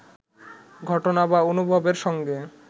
ঘটনা বা অনুভবের সঙ্গে